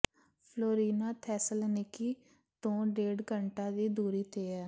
Florina Thessaloniki ਤੋਂ ਡੇਢ ਘੰਟਾ ਦੀ ਦੂਰੀ ਤੇ ਹੈ